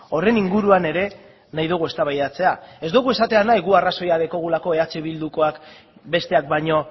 horren inguruan ere nahi dugu eztabaidatzea ez dugu esatea nahi guk arrazoia daukagulako eh bildukoak besteak baino